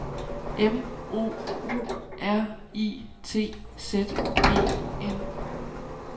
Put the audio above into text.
M O U R I T Z E N